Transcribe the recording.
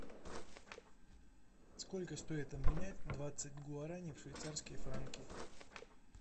сколько стоит обменять двадцать гуарани в швейцарские франки